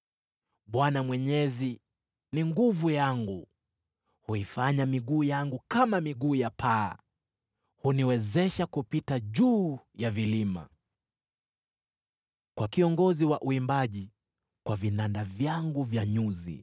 Bwana Mwenyezi ni nguvu yangu; huifanya miguu yangu kama miguu ya ayala, huniwezesha kupita juu ya vilima. Kwa kiongozi wa uimbaji. Kwa vinanda vyangu vya nyuzi.